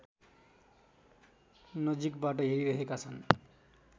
नजिकबाट हेरिरहेका छन्